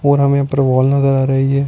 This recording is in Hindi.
और हमें यहाँ पर वॉल नजर आ रही है।